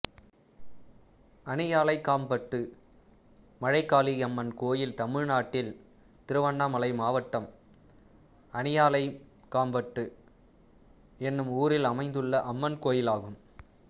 அணியாலைகாம்பட்டு மழைகாளியம்மன் கோயில் தமிழ்நாட்டில் திருவண்ணாமலை மாவட்டம் அணியாலைகாம்பட்டு என்னும் ஊரில் அமைந்துள்ள அம்மன் கோயிலாகும்